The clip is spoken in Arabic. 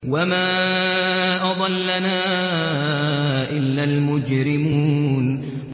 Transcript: وَمَا أَضَلَّنَا إِلَّا الْمُجْرِمُونَ